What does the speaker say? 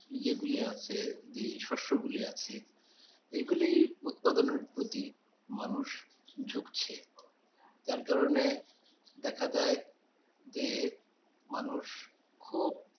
যেগুলি আছে যে শস্যগুলি আছে এগুলি উৎপাদনের প্রতি মানুষ ঝুঁকছে যার কারণের দেখা যায় যে মানুষ খুব